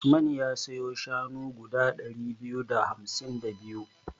Usman ya siyo shanu guda ɗari biyu da hamsin da biyu.